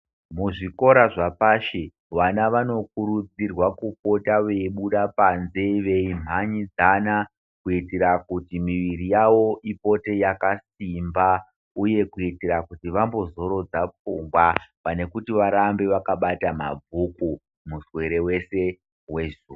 Muzvikora zvapashi vana vanokurudzirwa kubuda veibuda panze veimhanyidzana kuitira kuti miviri yavo ipote yakasimba uye kuitira kuti vambozorodze pfungwa pane kuti varambe vakabata mabhuku muswere wese wezuva.